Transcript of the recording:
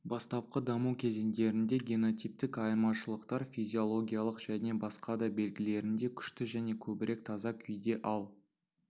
бастапқы даму кезеңдерінде генотиптік айырмашылықтар физиологиялық және басқа да белгілерінде күшті және көбірек таза күйде ал